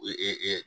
Ee